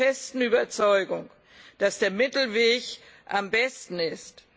Ich bin der festen Überzeugung, dass der Mittelweg am besten ist.